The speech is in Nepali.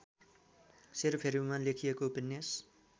सेरोफेरोमा लेखिएको उपन्यास